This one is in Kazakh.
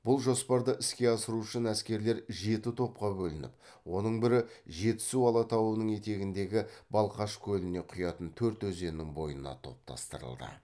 бұл жоспарды іске асыру үшін әскерлер жеті топқа бөлініп оның бірі жетісу алатауының етегіндегі балқаш көліне құятын төрт өзеннің бойына топтастырылды